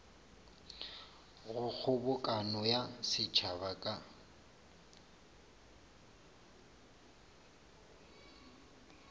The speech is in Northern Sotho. go kgobokano ya setšhaba ka